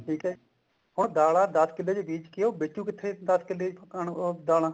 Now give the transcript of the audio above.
ਠੀਕ ਹੈ ਹੁਣ ਦਾਲਾਂ ਦਸ ਕਿੱਲੇ ਚ ਬੀਜ਼ ਕੇ ਉਹ ਵੇਚੁ ਕਿੱਥੇ ਦਸ ਕਿੱਲੇ ਉਹ ਦਾਲਾਂ